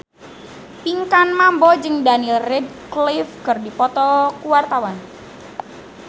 Pinkan Mambo jeung Daniel Radcliffe keur dipoto ku wartawan